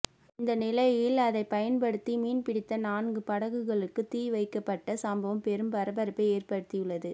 இந்த நிலையில் அதைப் பயன்படுத்தி மீன் பிடித்த நான்கு படகுகளுக்கு தீ வைக்கப்பட்ட சம்பவம் பெரும் பரபரப்பை ஏற்படுத்தியுள்ளது